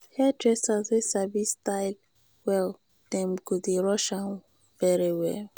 hairdresser wey sabi style well dem go dey rush am very well.